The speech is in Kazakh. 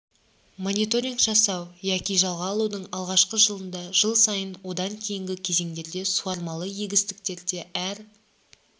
мониторинг жасау яки жалға алудың алғашқы жылында жыл сайын одан кейінгі кезеңдерде суармалы егістіктерде әр